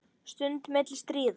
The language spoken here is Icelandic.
Stund milli stríða.